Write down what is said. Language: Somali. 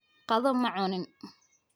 Qado ma cunin